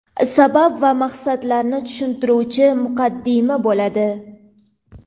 sabab va maqsadlarini tushuntiruvchi muqaddima bo‘ladi.